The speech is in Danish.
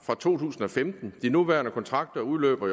fra to tusind og femten i de nuværende kontrakter udløber